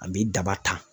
An bi daba ta